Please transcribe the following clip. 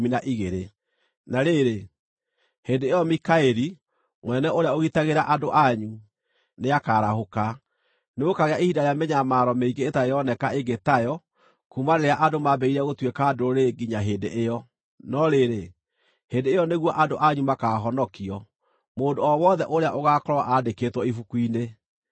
“Na rĩrĩ, hĩndĩ ĩyo Mikaeli, mũnene ũrĩa ũgitagĩra andũ anyu, nĩakarahũka. Nĩgũkaagĩa ihinda rĩa mĩnyamaro mĩingĩ ĩtarĩ yoneka ĩngĩ tayo kuuma rĩrĩa andũ mambĩrĩrie gũtuĩka ndũrĩrĩ nginya hĩndĩ ĩyo. No rĩrĩ, hĩndĩ ĩyo nĩguo andũ anyu makaahonokio, mũndũ o wothe ũrĩa ũgaakorwo aandĩkĩtwo ibuku-inĩ.